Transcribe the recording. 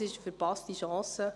Es wäre eine verpasste Chance.